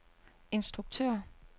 instruktør